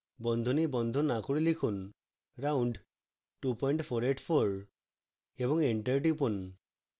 বন্ধনী বন্ধ না করে লিখুন round 2484 এবং enter টিপুন